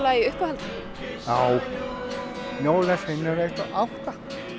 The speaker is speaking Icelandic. í uppáhaldi já jólasveinar einn og átta